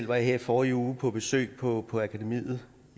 var her i forrige uge på besøg på akademiet